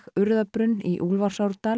Urðarbrunn í